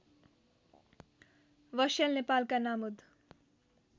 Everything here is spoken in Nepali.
बस्याल नेपालका नामुद